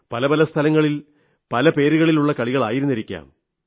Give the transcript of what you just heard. പല പല സ്ഥലങ്ങളിൽ പല പേരുകളിലുള്ള കളികളായിരുന്നിരിക്കാം